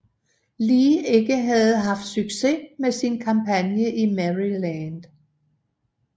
Lee ikke havde haft succes med sin kampagne i Maryland